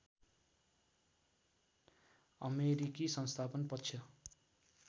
अमेरिकी संस्थापन पक्ष